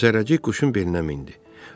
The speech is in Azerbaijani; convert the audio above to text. Zərrəcik quşun belinə mindi.